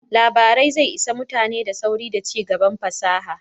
Labarai zai isa mutane da sauri da cigaban fasaha